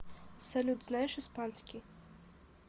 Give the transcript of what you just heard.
салют знаешь испанский